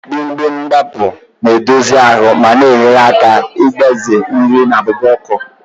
Bimbimapu na edozi ahụ ma na enyere mgbaze nri na abụba ọkụ.